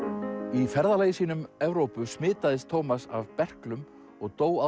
í ferðalagi sínu um Evrópu smitaðist Tómas af berklum og dó